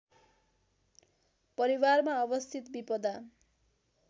परिवारमा अवस्थित विपदा